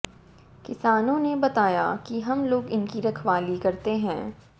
किसानों ने बताया कि हम लोग इनकी रखवाली करते हैं